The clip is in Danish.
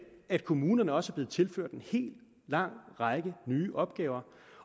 at kommunerne også er blevet tilført en lang række nye opgaver